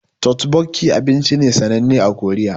Totbokki abinci ne sananne a Korea